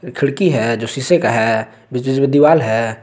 खिड़की है जो शीशे का है बीच बीच में दीवार है।